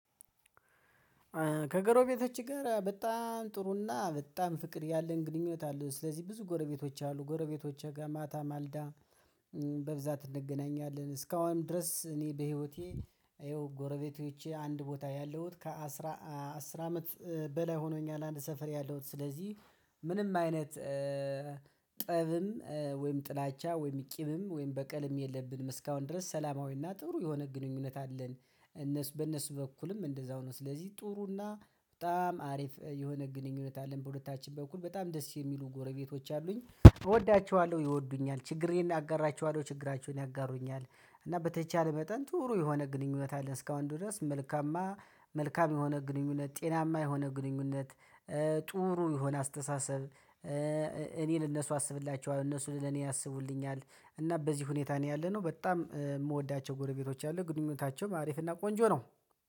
ከጎረቤቶች ጋር በጣም ጥሩና በጣም ፍቅር ያለን ግንኙነት አለ። ስለዚህ ብዙ ጎረቤቶች አሉ ጎረቤቶች ጋር ማታ ማልዳ በብዛት እንገናኛለን። እስካሁንም ድረስ እኔ በህይወቴ ይኸው ጎረቤቶቼ አንድ ቦታ ያለሁት ከአስራ አስር አመት በላይ ሆኖኛል። አንድ ሰፈር ያለሁት ስለዚህ ምንም አይነት ጠብም ወይም ጥላቻ ወይም ቂምም ወይም በቀልም የለብንም እስካሁን ድረስ ሰላማዊና ጥሩ የሆነ ግንኙነት አለን። እነሱ በእነሱ በኩልም እንደዛው ነው ስለዚህ ጥሩና በጣም አሪፍ የሆነ ግንኙነት አለን። በሁለታችን በኩል በጣም ደስ የሚሉ ጎረቤቶች አሉኝ እወዳቸዋለሁ ይወዱኛል ችግሬን አጋራችኋለሁ ችግራቸውን ያጋሩኛል። እና በተቻለ መጠን ጥሩ የሆነ ግንኙነት አለ እስከ አሁን ድረስ መልካማ መልካም የሆነ ግንኙነት ጤናማ የሆነ ግንኙነት። ጥሩ የሆነ አስተሳሰብ እኔን እነሱ አስብላችኋለሁ እነሱን ለኔ ያስቡልኛል። እና በዚህ ሁኔታ ነው ያለነው በጣም የምወዳቸው ጎረቤቶች አሉኝ ግንኙነታቸውም አሪፍና ቆንጆ ነው